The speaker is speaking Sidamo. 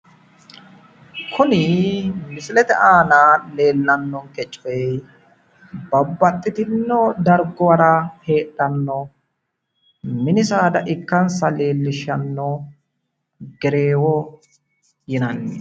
Kunni misillete aanna leeltanonke coyi babbaxino darguwara heedhano minni saada ikkansa leelishano gereewo yinnanni.